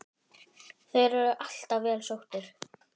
Þeir eru alltaf vel sóttir.